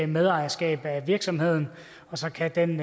medejerskab af virksomheden og så kan den